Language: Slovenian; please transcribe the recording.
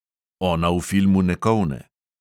Ona v filmu ne kolne.